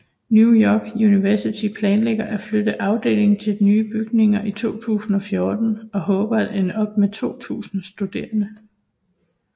New York University planlægger at flytte afdelingen til nye bygninger i 2014 og håber at ende op med 2000 studerende